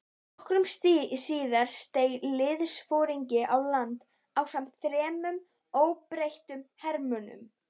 Nokkru síðar steig liðsforingi á land ásamt þremur óbreyttum hermönnum.